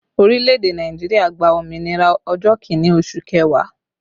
Orílẹ̀ èdè Nàìjíríà gba òmìnira ọjọ́ Kínní oṣù kẹwàá